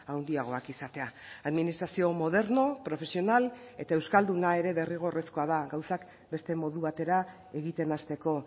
handiagoak izatea administrazio moderno profesional eta euskalduna ere derrigorrezkoa da gauzak beste modu batera egiten hasteko